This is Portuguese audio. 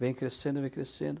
Vem crescendo, vem crescendo.